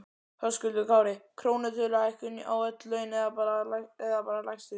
Höskuldur Kári: Krónutöluhækkun á öll laun eða bara lægstu?